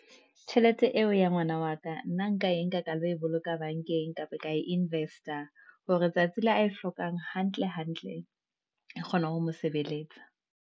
Tjhelete eo ya ngwana wa ka, nna nka e nka ka lo e boloka bank-eng, Kapa ka invest-a, hore tsatsi le a e hlokang hantle, hantle, e kgona ho mo sebeletsa.